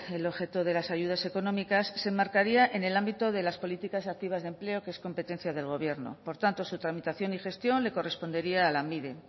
el objeto de las ayudas económicas se enmarcaría en el ámbito de las políticas activas de empleo que es competencia del gobierno por tanto su tramitación y gestión le correspondería a lanbide